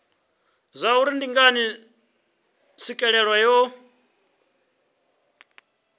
zwauri ndi ngani tswikelelo yo